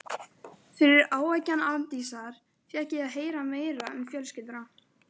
Fyrir áeggjan Arndísar fékk ég að heyra meira um fjölskylduna.